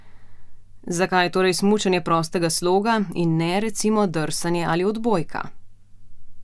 Zakaj torej smučanje prostega sloga, in ne, recimo, drsanje ali odbojka?